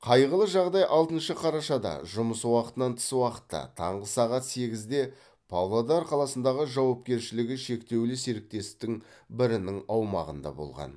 қайғылы жағдай алтыншы қарашада жұмыс уақытынан тыс уақытта таңғы сағат сегізде павлодар қаласындағы жауапкершілігі шектеулі серіктестің бірінің аумағында болған